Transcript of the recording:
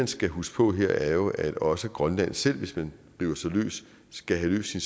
skal huske på her er jo at også grønland selv hvis man river sig løs skal have løst sin